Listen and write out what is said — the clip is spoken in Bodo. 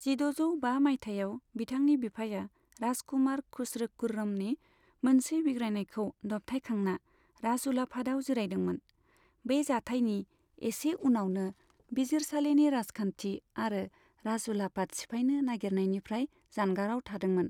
जिद'जौ बा माइथायाव, बिथांनि बिफाया राजकुमार खुस्र' खुर्रमनि मोनसे बिग्रायनायखौ दबथायखांना राजउलाफादाव जिरायदोंमोन, बै जाथायनि एसे उनावनो बिजिरसालिनि राजखान्थि आरो राजउलाफाद सिफायनो नागिरनायनिफ्राय जानगाराव थादोंमोन।